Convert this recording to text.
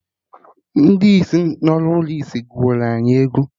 Ndị isi nọ n'ụlọ ndị isi gụrụ anyị egwu